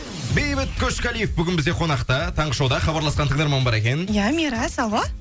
бейбіт қошқалиев бүгін бізде қонақта таңғы шоуда хабарласқан тыңдарман бар екен иә мирас алло